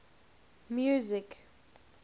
music